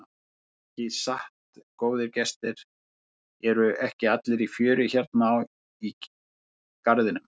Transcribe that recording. Ekki satt góðir gestir, eru ekki allir í fjöri hérna í garðinum?